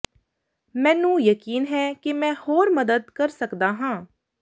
ਮੈਨੂੰ ਯਕੀਨ ਹੈ ਕਿ ਮੈਂ ਹੋਰ ਮਦਦ ਕਰ ਸਕਦਾ ਹਾਂ